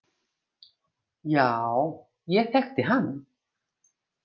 Já, ég þekkti hann.